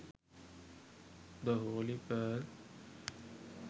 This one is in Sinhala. the holy pearl